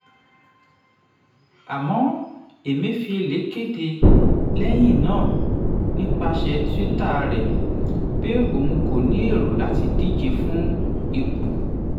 àmọ́ emefiele kéde lẹ́yìn náà nípasẹ̀ twitter rẹ̀ pé òun kò ní èrò láti díje fún ipò.